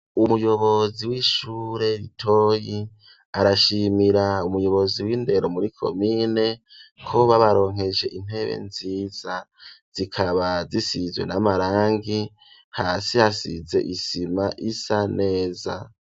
Umuyobozi w'ishure ritoyi arashimira umuyobozi w'indero muri komine ko babaronkeje intebe nziza, zikaba zisizwe n'amarangi, hasi hasize isima isa neza.